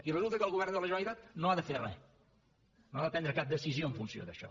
i resulta que el govern de la generalitat no ha de fer res no ha de prendre cap decisió en funció d’això